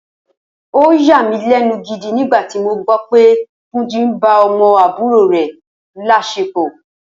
Ó yàmílé̩nu gidi nígbà tí mo gbó̩ pé Túnjí ń ba o̩mo̩ àbúrò rè̩ lás̩epò̩